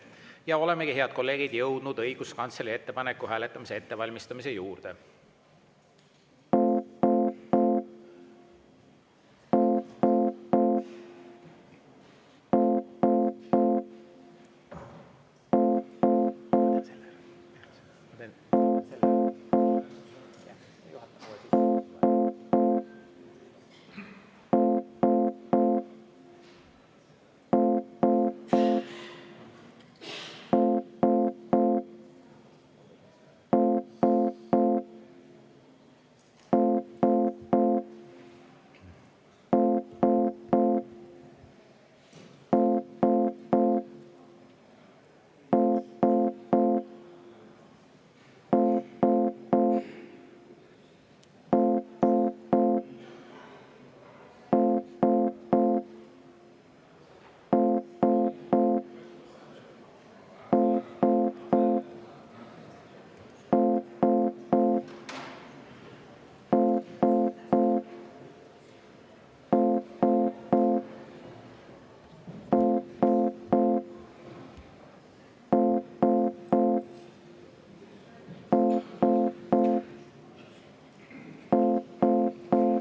Ja olemegi, head kolleegid, jõudnud õiguskantsleri ettepaneku hääletamise ettevalmistamise juurde.